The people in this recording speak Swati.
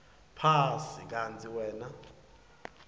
phasi kantsi wena